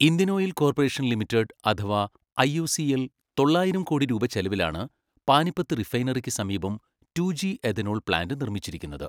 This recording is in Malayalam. ഇന്ത്യൻ ഓയിൽ കോർപ്പറേഷൻ ലിമിറ്റഡ് അഥവാ ഐഒസിഎൽ തൊള്ളായിരം കോടി രൂപ ചെലവിലാണ് പാനിപ്പത്ത് റിഫൈനറിക്ക് സമീപം ടു ജി എഥനോൾ പ്ലാന്റ് നിർമ്മിച്ചിരിക്കുന്നത്.